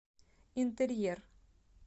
интерьер